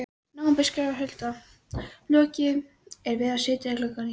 nóvember skrifar Hulda: Lokið er við að setja gluggana í.